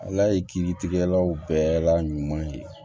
Ala ye kiiritigɛkɛlaw bɛɛ la ɲuman ye